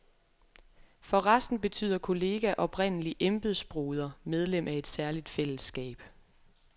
For resten betyder kollega oprindelig embedsbroder, medlem af et særligt fællesskab.